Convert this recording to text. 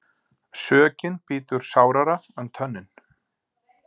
Sökin bítur sárara en tönnin.